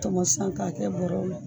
Tɔmɔ sisan k'a kɛ bɔrɔw la